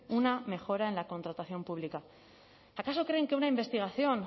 una mejora en la contratación pública acaso creen que una investigación